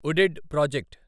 UDID project